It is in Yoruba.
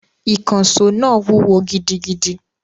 Ìkànṣó náà wúwo gidigidi